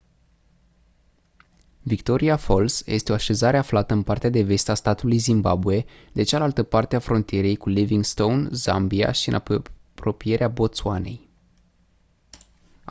victoria falls este o așezare aflată în partea de vest a statului zimbabwe de cealaltă parte a frontierei cu livingstone zambia și în apropierea botswanei